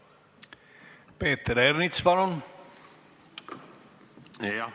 Peeter Ernits, palun!